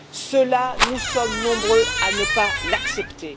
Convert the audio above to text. Cela, nous sommes nombreux à ne pas l'accepter.